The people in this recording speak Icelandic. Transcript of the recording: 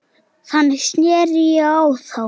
Þannig sneri ég á þá.